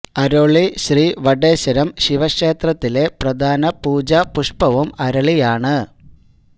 അരോളി ശ്രീ വടേശ്വരം ശിവ ക്ഷേത്രത്തിലെ പ്രധാന പൂജാ പുഷ്പ്പവും അരളിയാണ്